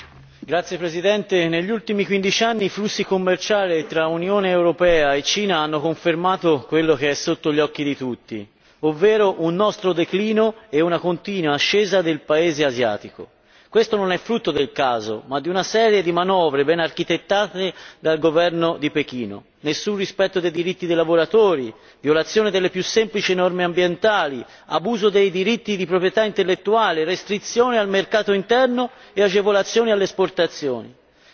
Signor Presidente, onorevoli colleghi, negli ultimi quindici anni i flussi commerciali tra Unione europea e Cina hanno confermato quello che è sotto gli occhi di tutti, ovvero un nostro declino e una continua ascesa del paese asiatico. Questo non è frutto del caso, ma di una serie di manovre ben architettate dal governo di Pechino nessun rispetto dei diritti dei lavoratori, violazione delle più semplici norme ambientali, abuso dei diritti di proprietà intellettuale, restrizione al mercato interno e agevolazioni all'esportazione.